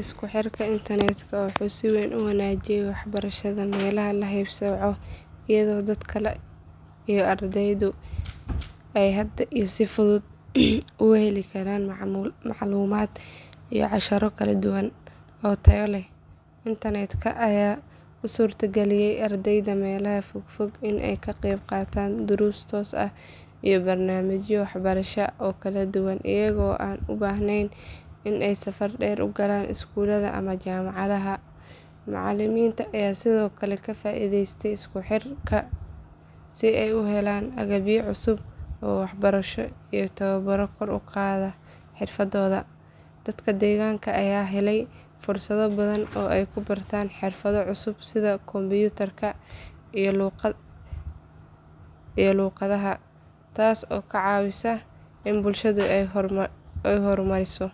Isku xirka internetka wuxuu si weyn u wanaajiyey waxbarashada meelaha la haybsooco iyadoo dadka iyo ardaydu ay hadda si fudud uga heli karaan macluumaad iyo casharro kala duwan oo tayo leh. Internetka ayaa u suurtageliyey ardayda meelaha fogfog in ay ka qeyb qaataan duruus toos ah iyo barnaamijyo waxbarasho oo kala duwan iyagoo aan u baahnayn in ay safar dheer u galaan iskuulada ama jaamacadaha. Macalimiinta ayaa sidoo kale ka faa’iideystay isku xirka si ay u helaan agabyo cusub oo waxbarasho iyo tababaro kor u qaada xirfadooda. Dadka deegaanka ayaa helay fursado badan oo ay ku bartaan xirfado cusub sida kombiyuutarka iyo luuqadaha, taas oo ka caawisa in bulshada ay horumariso.